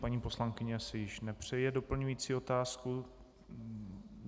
Paní poslankyně si již nepřeje doplňující otázku.